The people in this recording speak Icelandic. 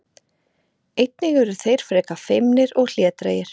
Einnig eru þeir frekar feimnir og hlédrægir.